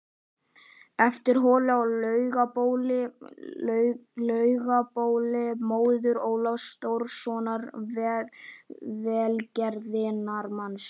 eftir Höllu á Laugabóli, móður Ólafs Þórðarsonar velgerðarmanns